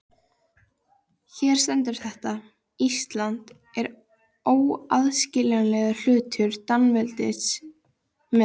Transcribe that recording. Hér stendur þetta: Ísland er óaðskiljanlegur hluti Danaveldis með.